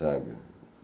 Sabe?